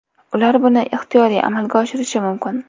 Ular buni ixtiyoriy amalga oshirishi mumkin.